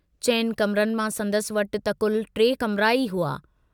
चइनि कमरनि मां संदसि वटि त कुल टे कमरा ई हुआ।